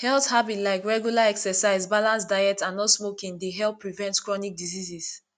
health habits like regular exercise balanced diet and not smoking dey help prevent chronic diseases